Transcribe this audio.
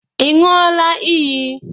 Ị ṅụọla iyi?